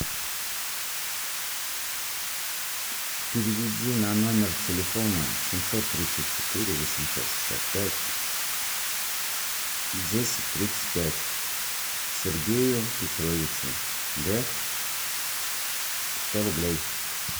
переведи на номер телефона семьсот тридцать четыре восемьсот шестьдесят пять десять тридцать пять сергею петровичу г сто рублей